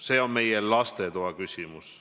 See on meie lastetoa küsimus.